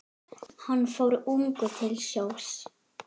Hann fór ungur til sjós.